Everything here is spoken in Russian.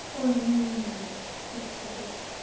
ой ну и не надо фиг с тобой